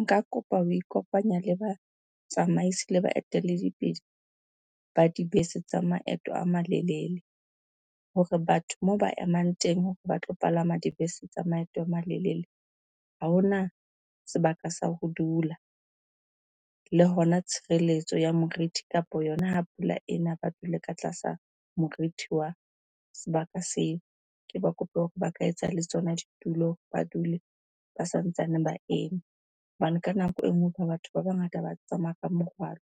Nka kopa ho ikopanya le ba tsamaisi le baeteledipele ba dibese tsa maeto a malelele hore batho moo ba emang teng hore ba tlo palama dibese tsa maeto a malelele, ha hona sebaka sa ho dula. Le hona tshireletso ya morithi kapa yona ha pula ena ba dule ka tlasa morithi wa sebaka seo. Ke ba kope hore ba ka etsa le tsona ditulo, ba dule ba sa ntsaneng ba eme. Hobane ka nako e nngwe batho ba bangata ba tsamaya ka morwalo,